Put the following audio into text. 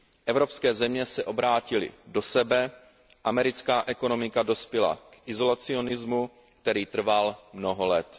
Evropské země se obrátily do sebe, americká ekonomika dospěla k izolacionismu, který trval mnoho let.